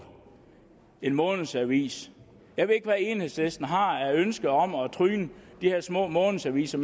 månedsaviser jeg ved ikke hvad enhedslisten har af ønske om at tryne de her små månedsaviser